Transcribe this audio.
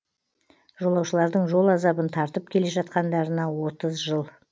жолаушылардың жол азабын тартып келе жатқандарына отыз жыл